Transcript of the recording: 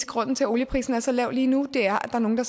grunden til at olieprisen er så lav lige nu er at nogle